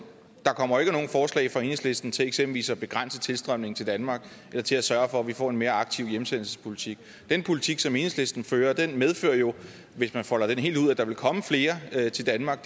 der kommer ikke nogen forslag fra enhedslisten til eksempelvis at begrænse tilstrømningen til danmark eller til at sørge for at vi får en mere aktiv hjemsendelsespolitik den politik som enhedslisten fører medfører jo hvis man folder den helt ud at der vil komme flere til danmark